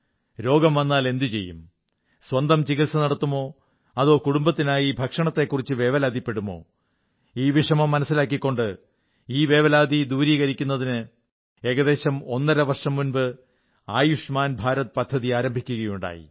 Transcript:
രോഗം വന്നാൽ എന്തു ചെയ്യും സ്വന്തം ചികിത്സ നടത്തുമോ അതോ കുടുംബത്തിനായി ഭക്ഷണത്തിനെക്കുറിച്ച് വേവലാതിപ്പെടുമോ ഈ വിഷമം മനസ്സിലാക്കിക്കൊണ്ട് ഈ വേവലാതി ദൂരീകരിക്കുന്നതിന് ഏകദേശം ഒന്നര വർഷം മുമ്പ് ആയുഷ്മാൻ ഭാരത് പദ്ധതി ആരംഭിക്കുകയുണ്ടായി